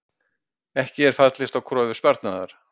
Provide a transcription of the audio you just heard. Ekki fallist á kröfu Sparnaðar